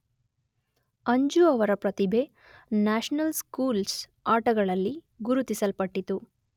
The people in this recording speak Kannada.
ಅಂಜು ಅವರ ಪ್ರತಿಭೆ ನ್ಯಾಷನಲ್ ಸ್ಕೂಲ್ಸ್ ಆಟಗಳಲ್ಲಿ ಗುರುತಿಸಲ್ಪಟ್ಟಿತು.